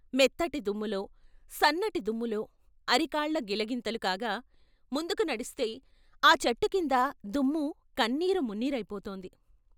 మెత్తటి దుమ్ములో, సన్నటి దుమ్ములో అరికాళ్ళు గిలిగింతలు కాగా ముందుకు నడిస్తే ఆ చెట్టు కింద దుమ్ము కన్నీరు మున్నీరైపోతోంది.